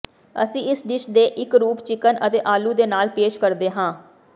ਅਸੀਂ ਇਸ ਡਿਸ਼ ਦੇ ਇੱਕ ਰੂਪ ਚਿਕਨ ਅਤੇ ਆਲੂ ਦੇ ਨਾਲ ਪੇਸ਼ ਕਰਦੇ ਹਾਂ